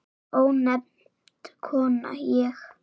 Ónefnd kona: Ég?